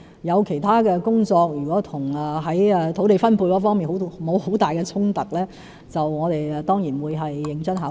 如果其他工作與土地分配沒有太大衝突，我們當然會認真考慮。